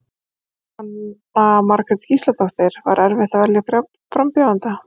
Jóhanna Margrét Gísladóttir: Var erfitt að velja frambjóðanda?